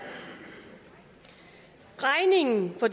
regningen for